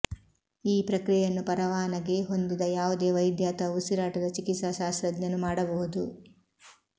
ಈ ಪ್ರಕ್ರಿಯೆಯನ್ನು ಪರವಾನಗಿ ಹೊಂದಿದ ಯಾವುದೇ ವೈದ್ಯ ಅಥವಾ ಉಸಿರಾಟದ ಚಿಕಿತ್ಸಾಶಾಸ್ತ್ರಜ್ಞನು ಮಾಡಬಹುದು